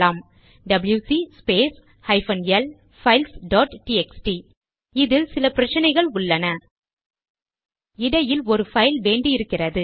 WC space hyphen L files dot TXT இதில் சில பிரச்சனைகள் உள்ளன இடையில் ஒரு பைல் வேண்டி இருக்கிறது